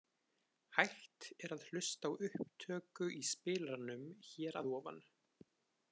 Hægt er að hlusta á upptöku í spilaranum hér að ofan.